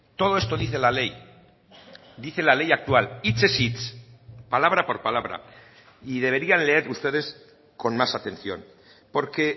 todo esto dice la ley dice la ley actual hitzez hitz palabra por palabra y deberían leer ustedes con más atención porque